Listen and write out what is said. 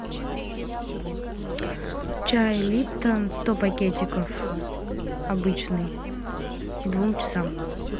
чай липтон сто пакетиков обычный к двум часам